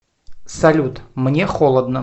салют мне холодно